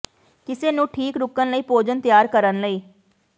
ਕਿਸ ਨੂੰ ਠੀਕ ਰੁਕਣ ਲਈ ਭੋਜਨ ਤਿਆਰ ਕਰਨ ਲਈ